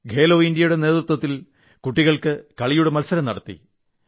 ഖേലോ ഇൻഡ്യയുടെ നേതൃത്വത്തിൽ കുട്ടികൾക്കായി കായിക മത്സരം നടത്തി